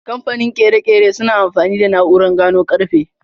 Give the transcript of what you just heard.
Kamfanin ƙere-ƙere suna amfani da na'urar gano karfe.